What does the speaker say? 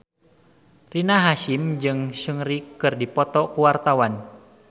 Rina Hasyim jeung Seungri keur dipoto ku wartawan